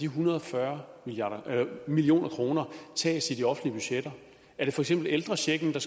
hundrede og fyrre million kroner tages er det for eksempel ældrechecken der